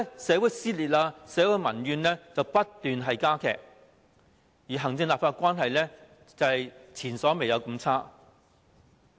社會撕裂，社會的民怨不斷加劇，而行政立法關係前所未有地惡劣。